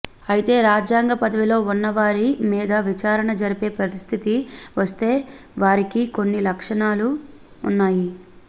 అయితే రాజ్యాంగ పదవిలో ఉన్నవారి మీద విచారణ జరిపే పరిస్థితి వస్తే వారికి కొన్ని రక్షణలు ఉన్నాయి